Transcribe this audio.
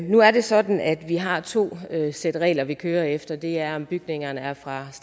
nu er det sådan at vi har to sæt regler vi kører efter det er om bygningerne er fra